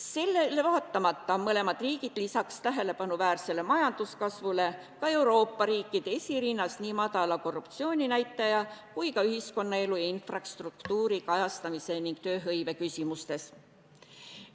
Sellel vaatamata on mõlemad riigid lisaks tähelepanuväärsele majanduskasvule ka Euroopa riikide esirinnas nii madala korruptsiooninäitaja kui ka ühiskonnaelu ja infrastruktuuri kajastamise ning tööhõive küsimustes.